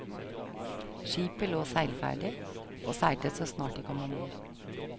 Skipet lå seilferdig, og seilte så snart de kom ombord.